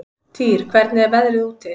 Týr, hvernig er veðrið úti?